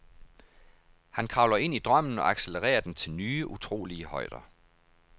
Han kravler ind i drømmen og accelererer den til nye, utrolige højder.